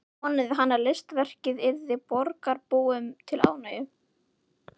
Vonaði hann að listaverkið yrði borgarbúum til ánægju.